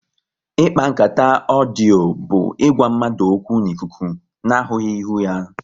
Ikpa nkata ọdio bụ ịgwa mmadụ okwu n'ikuku na ahụghị ihu ha